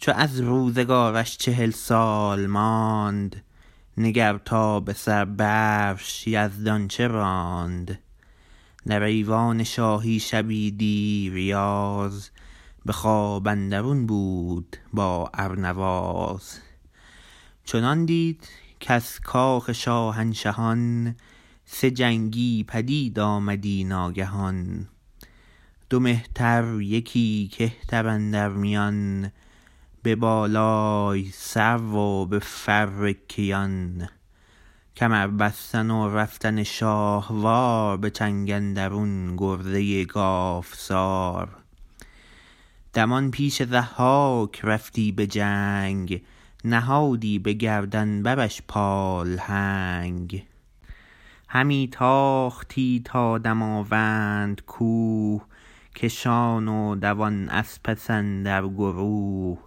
چو از روزگارش چهل سال ماند نگر تا به سر برش یزدان چه راند در ایوان شاهی شبی دیر یاز به خواب اندرون بود با ارنواز چنان دید کز کاخ شاهنشهان سه جنگی پدید آمدی ناگهان دو مهتر یکی کهتر اندر میان به بالای سرو و به فر کیان کمر بستن و رفتن شاهوار به چنگ اندرون گرزه گاوسار دمان پیش ضحاک رفتی به جنگ نهادی به گردن برش پالهنگ همی تاختی تا دماوند کوه کشان و دوان از پس اندر گروه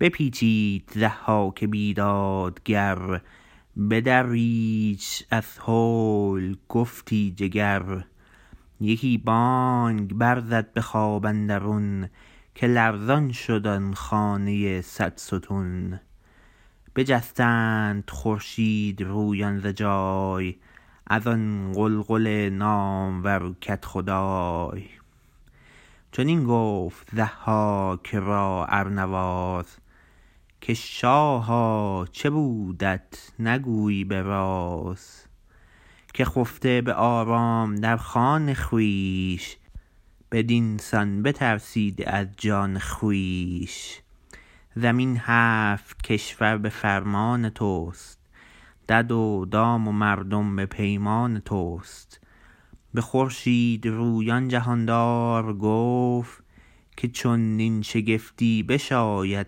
بپیچید ضحاک بیدادگر بدریدش از هول گفتی جگر یکی بانگ بر زد به خواب اندرون که لرزان شد آن خانه صدستون بجستند خورشیدرویان ز جای از آن غلغل نامور کدخدای چنین گفت ضحاک را ارنواز که شاها چه بودت نگویی به راز که خفته به آرام در خان خویش بر این سان بترسیدی از جان خویش زمین هفت کشور به فرمان تو است دد و دام و مردم به پیمان تو است به خورشیدرویان جهاندار گفت که چونین شگفتی بشاید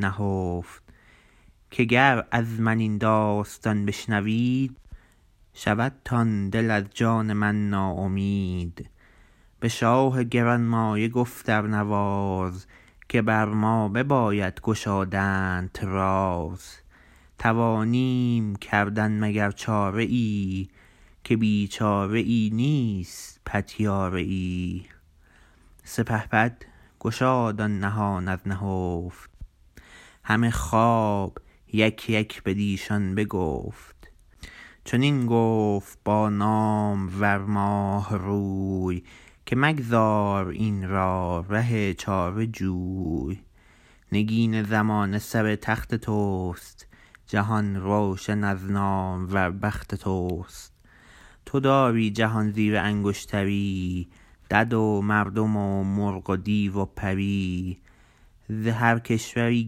نهفت که گر از من این داستان بشنوید شودتان دل از جان من ناامید به شاه گرانمایه گفت ارنواز که بر ما بباید گشادنت راز توانیم کردن مگر چاره ای که بی چاره ای نیست پتیاره ای سپهبد گشاد آن نهان از نهفت همه خواب یک یک بدیشان بگفت چنین گفت با نامور ماهروی که مگذار این را ره چاره جوی نگین زمانه سر تخت تو است جهان روشن از نامور بخت تو است تو داری جهان زیر انگشتری دد و مردم و مرغ و دیو و پری ز هر کشوری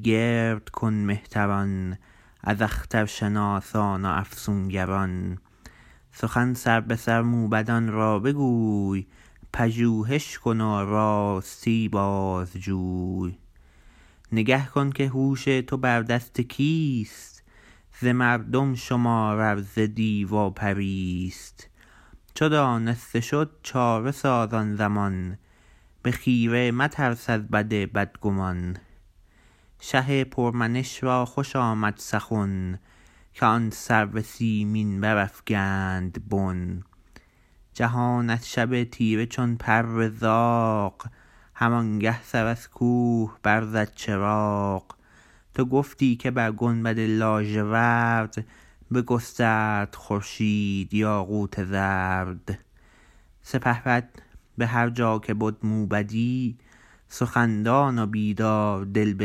گرد کن مهتران از اخترشناسان و افسونگران سخن سربه سر موبدان را بگوی پژوهش کن و راستی بازجوی نگه کن که هوش تو بر دست کیست ز مردم شمار ار ز دیو و پریست چو دانسته شد چاره ساز آن زمان به خیره مترس از بد بدگمان شه پر منش را خوش آمد سخن که آن سرو سیمین برافگند بن جهان از شب تیره چون پر زاغ همانگه سر از کوه بر زد چراغ تو گفتی که بر گنبد لاژورد بگسترد خورشید یاقوت زرد سپهبد به هر جا که بد موبدی سخن دان و بیداردل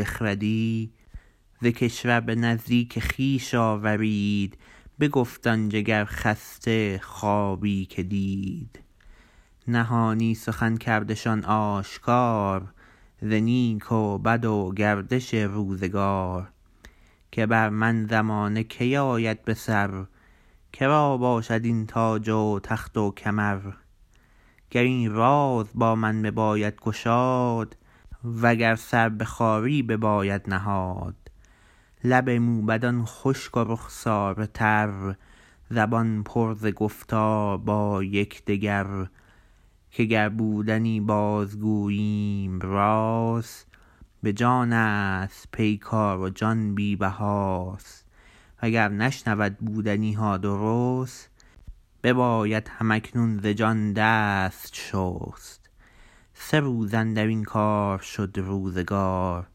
بخردی ز کشور به نزدیک خویش آورید بگفت آن جگرخسته خوابی که دید نهانی سخن کردشان آشکار ز نیک و بد و گردش روزگار که بر من زمانه کی آید بسر که را باشد این تاج و تخت و کمر گر این راز با من بباید گشاد و گر سر به خواری بباید نهاد لب موبدان خشک و رخساره تر زبان پر ز گفتار با یکدگر که گر بودنی باز گوییم راست به جانست پیکار و جان بی بهاست و گر نشنود بودنی ها درست بباید هم اکنون ز جان دست شست سه روز اندر این کار شد روزگار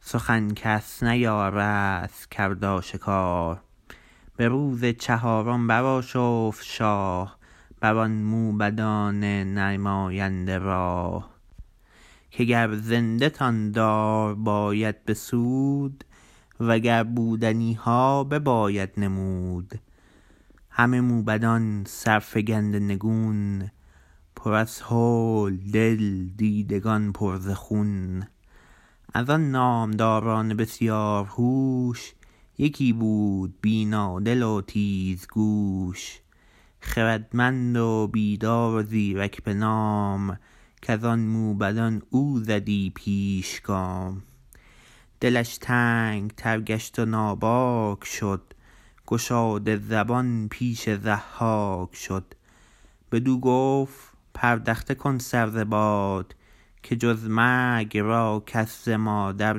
سخن کس نیارست کرد آشکار به روز چهارم برآشفت شاه بر آن موبدان نماینده راه که گر زنده تان دار باید بسود و گر بودنی ها بباید نمود همه موبدان سرفگنده نگون پر از هول دل دیدگان پر ز خون از آن نامداران بسیار هوش یکی بود بینادل و تیزگوش خردمند و بیدار و زیرک به نام کز آن موبدان او زدی پیش گام دلش تنگ تر گشت و ناباک شد گشاده زبان پیش ضحاک شد بدو گفت پردخته کن سر ز باد که جز مرگ را کس ز مادر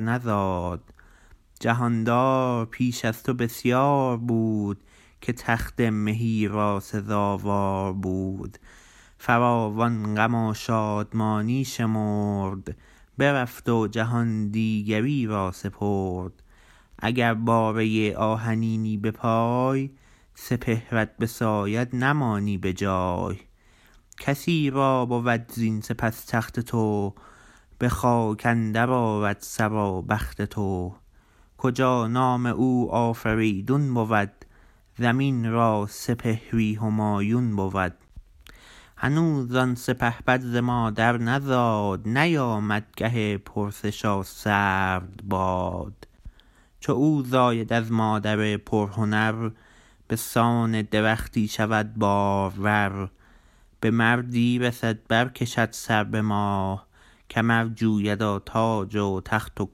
نزاد جهاندار پیش از تو بسیار بود که تخت مهی را سزاوار بود فراوان غم و شادمانی شمرد برفت و جهان دیگری را سپرد اگر باره آهنینی به پای سپهرت بساید نمانی به جای کسی را بود زین سپس تخت تو به خاک اندر آرد سر و بخت تو کجا نام او آفریدون بود زمین را سپهری همایون بود هنوز آن سپهبد ز مادر نزاد نیامد گه پرسش و سرد باد چو او زاید از مادر پرهنر به سان درختی شود بارور به مردی رسد بر کشد سر به ماه کمر جوید و تاج و تخت و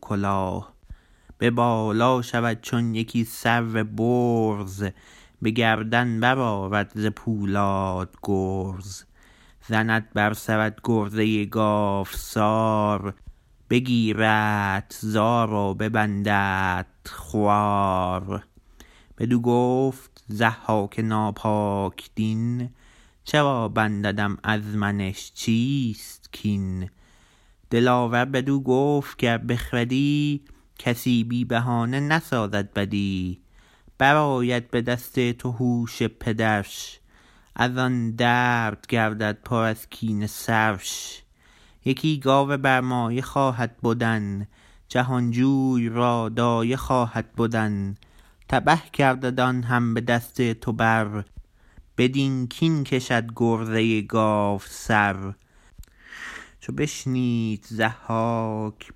کلاه به بالا شود چون یکی سرو برز به گردن برآرد ز پولاد گرز زند بر سرت گرزه گاوسار بگیردت زار و ببنددت خوار بدو گفت ضحاک ناپاک دین چرا بنددم از منش چیست کین دلاور بدو گفت گر بخردی کسی بی بهانه نسازد بدی برآید به دست تو هوش پدرش از آن درد گردد پر از کینه سرش یکی گاو برمایه خواهد بدن جهانجوی را دایه خواهد بدن تبه گردد آن هم به دست تو بر بدین کین کشد گرزه گاوسر چو بشنید ضحاک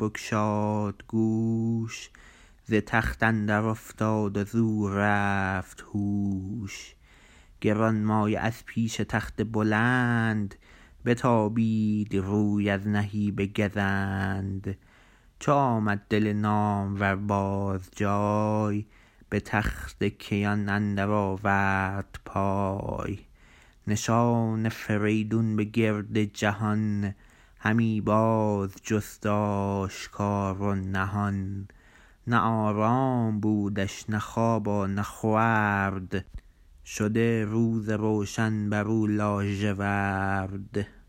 بگشاد گوش ز تخت اندر افتاد و زو رفت هوش گرانمایه از پیش تخت بلند بتابید روی از نهیب گزند چو آمد دل نامور باز جای به تخت کیان اندر آورد پای نشان فریدون به گرد جهان همی باز جست آشکار و نهان نه آرام بودش نه خواب و نه خورد شده روز روشن بر او لاژورد